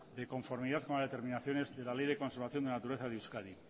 de conformidad con las determinaciones de la ley de conservación de naturaleza de euskadi